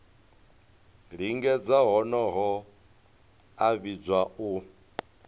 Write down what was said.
lingedza honoho a vhidzwa u